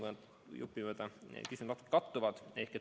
Siin küsimused natuke kattuvad.